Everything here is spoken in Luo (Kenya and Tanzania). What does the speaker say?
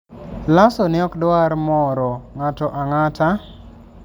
Lasso ne ok dwar moro ng'ato ang'ata...